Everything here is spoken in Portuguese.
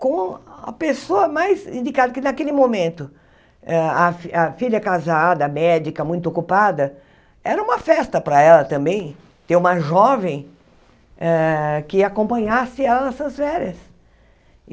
com a pessoa mais indicada, que naquele momento, hã a a filha casada, médica, muito ocupada, era uma festa para ela também, ter uma jovem ah que acompanhasse ela nessas férias.